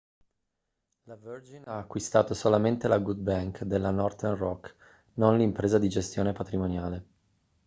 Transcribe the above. la virgin ha acquistato solamente la good bank' della northern rock non l'impresa di gestione patrimoniale